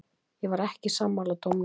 Ég var ekki sammála dómnum.